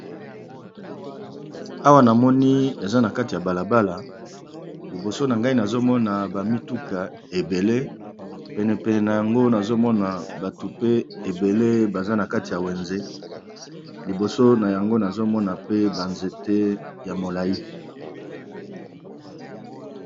awa na moni eza na kati ya balabala liboso na ngai nazomona bamituka ebele penepene na yango nazomona batu pe ebele baza na kati ya wenze liboso na yango nazomona pe banzete ya molai